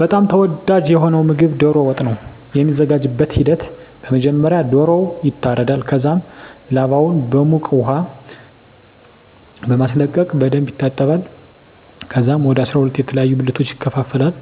በጣም ተወዳጂ የሆነዉ ምግብ ዶሮ ወጥ ነዉ። የሚዘጋጅበትም ሂደት በመጀመሪያ ዶሮዉ ይታረዳል ከዛም ላባዉን በዉቅ ዉሃ በማስለቀቅ በደንብ ይታጠባል ከዛም ወደ 12 የተለያዩ ብልቶች ይከፋፈላል